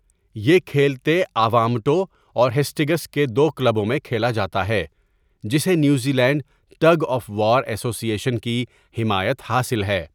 یہ کھیلتے آوامٹو اور ہسٹںگس کے دو کلبوں میں کھیلا جاتا ہے، جسے New Zealand tug of war association کی حمایت حاصل ہے۔